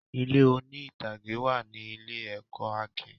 Ilé oní-ìtàgé wà ní ilé-ẹ̀kọ́ Akin.